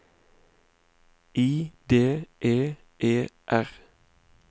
I D É E R